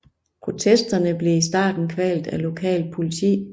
Protesterne blev i starten kvalt af lokalt politi